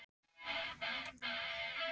Nú er Heiðu að batna, hugsaði Lóa Lóa glöð.